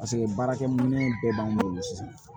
Paseke baarakɛ minɛn bɛɛ b'an bolo sisan